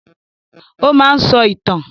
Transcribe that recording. Ó máa ń sọ ìtàn